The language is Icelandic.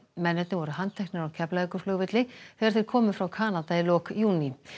mennirnir voru handteknir á þegar þeir komu frá Kanada í lok júní